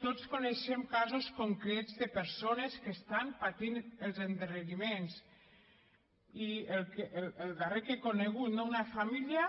tots coneixem casos concrets de persones que estan patint els endarreriments i el darrer que he conegut no una família